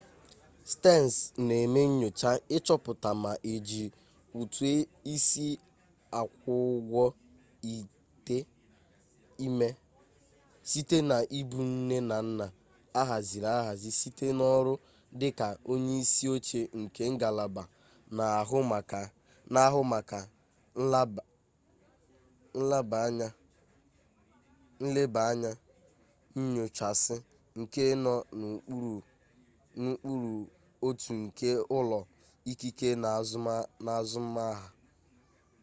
stearns na eme nyocha ichoputa ma eji utu-isi akwu-ugwo ite-ime site na ibu nne na nna ahaziri ahzi site n'oru dika onye-isi-oche nke ngalaba na ahu maka nlaba anya nyochasi nke no n'ukpuru otu nke ulo ikike na azum-aha